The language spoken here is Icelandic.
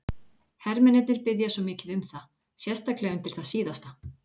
Hermennirnir biðja svo mikið um það, sérstaklega undir það síðasta.